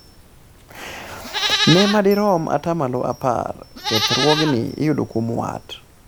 ne madirom atamalo apar kethruogni iyudo kuom wat